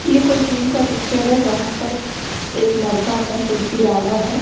ये कोई जिम का पिक्चर है जहाँ पर एक लरका अपना सेल्फी डाला है।